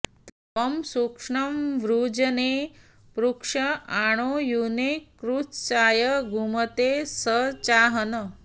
त्वं शुष्णं वृजने पृक्ष आणौ यूने कुत्साय द्युमते सचाहन्